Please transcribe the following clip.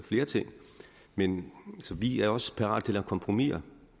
flere ting men vi er også parate lave kompromiser